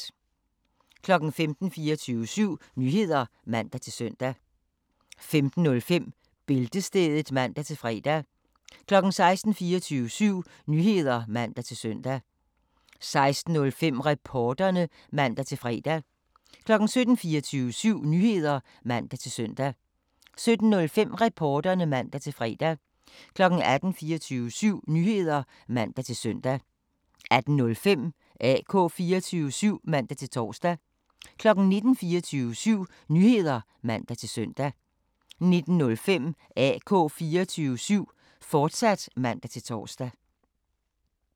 15:00: 24syv Nyheder (man-søn) 15:05: Bæltestedet (man-fre) 16:00: 24syv Nyheder (man-søn) 16:05: Reporterne (man-fre) 17:00: 24syv Nyheder (man-søn) 17:05: Reporterne (man-fre) 18:00: 24syv Nyheder (man-søn) 18:05: AK 24syv (man-tor) 19:00: 24syv Nyheder (man-søn) 19:05: AK 24syv, fortsat (man-tor)